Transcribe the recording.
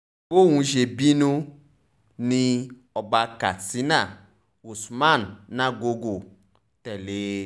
bọ́ún ṣe bínú ni ọba katsina usman nagogo tẹ̀lé e